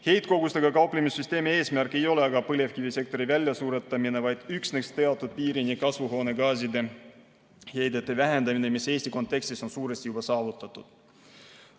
Heitkogustega kauplemise süsteemi eesmärk ei ole aga põlevkivisektori väljasuretamine, vaid üksnes teatud piirini kasvuhoonegaaside heidete vähendamine, mis Eesti kontekstis on suuresti juba saavutatud.